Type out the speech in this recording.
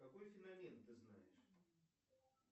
какой феномен ты знаешь